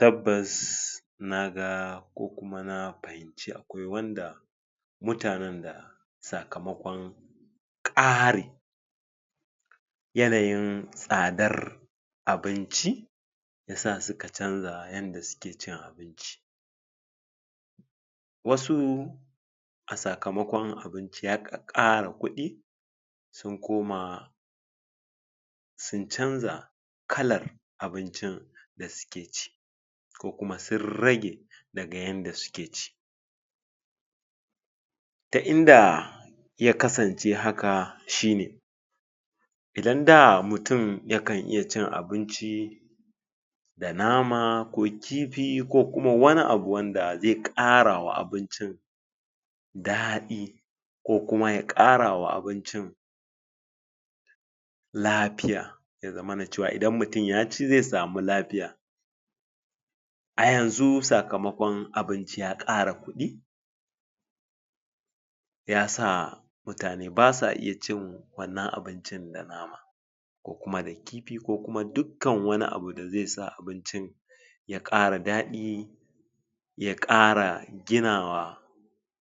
tabbas naga kokum nafahimci akwai wanda mutane da sakamakon ƙari yanayin tsadar abinci yasa suka canza yanda suki cin abinci wasu a sakamakun abinci ya ƙakƙara kuɗi sun koma sun canza kalar abincin dasuke ci kokuma sun rage daga yanda suke ci ta inda yakasanci haka shine idan da mutun yaka iya cin abinci da nama ko kifi kokuma wani abun da zai ƙarawa abincin daɗi kokuma ya ƙarawa abincin lafiya yazamana cewa idan mutun yacin zai samu lafiya ayanzu sakamakon abinci ya ƙara kuɗi yasa mutane basa iya cin wannan abincin da nama kokuma da kifi kokuma dukan wani abun da zai sa abincin ya ƙara daɗi ya ƙara ginawa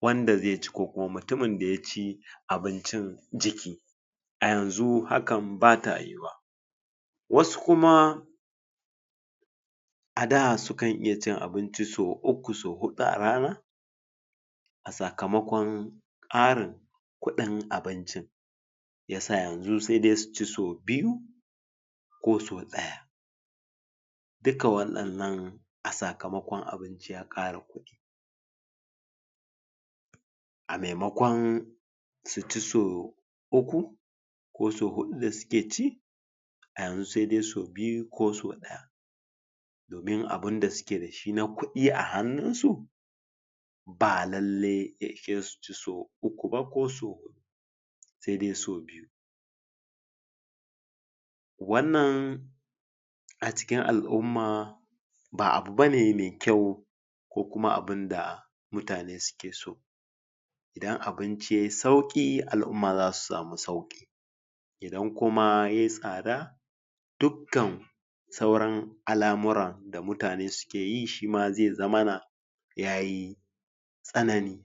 wanda zai ci kokuma mutumin da yaci abinci jiki a yanzu hakan baya yuwa wasu kuma ada sukan iya cin abinci so uku so huɗu a rana a sakamakon ƙara kuɗin abincin yasa yanzu sai dai suci so biyu koso ɗaya duka wadin nan a sakamakon abinci ya ƙara kuɗi a mai makon suci so uku koso huɗu dasuki ci ayanzu sai dai so biyu koso daya domin abunda suki dashi na kuɗi a hanu su ba lalle ya ishesu suci so uku ko so huɗu sai dai so biyu wannan acikin al'umma ba abu bane mai kyau kokuma abinda mutane suke so idan abinci yayi sauki al'umma zasu sama sauki idan kuma yayi tsada dukkan sauran al'amura da mutane sukiye shima zai zamana yayi tsanani